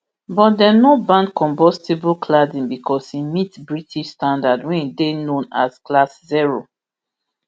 but dem no ban combustible cladding becos e meet british standard wey dey known as class zero